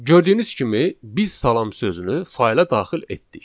Gördüyünüz kimi biz salam sözünü fayla daxil etdik.